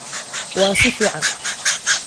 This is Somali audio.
Waa si fiican